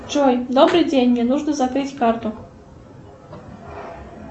джой добрый день мне нужно закрыть карту